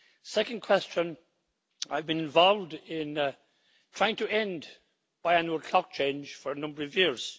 Second question I've been involved in trying to end the biannual clock change for a number of years.